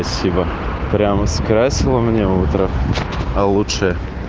спасибо прямо скрасила меня утром получше